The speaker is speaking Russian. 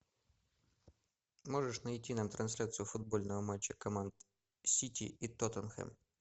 можешь найти нам трансляцию футбольного матча команд сити и тоттенхэм